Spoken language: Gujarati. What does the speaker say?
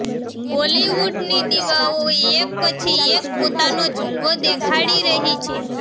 બોલીવુડની દીવાઓ એક પછી એક પોતાનો જલવો દેખાડી રહી છે